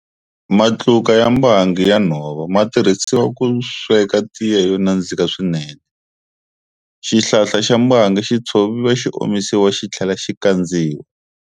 Matluka ya mbangi ya nhova ma tirhisiwa ku sweka tiya yo nandziha swinene. Xihlahla xa mbangi xi tshoviwa xi omisiwa xi tlhela xi kandziwa.